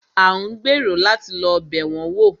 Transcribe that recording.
A ń gbèrò láti lọ́ bẹ̀ wọn wò.